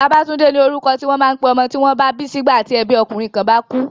Babatunde ni orúkọ ti wọ́n máa ń pé ọmọ tí wọ́n bá bí sígbà tí ẹbí ọkùnrin kan bá kú.